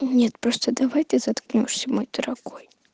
нет просто давай ты заткнёшься мой дорогой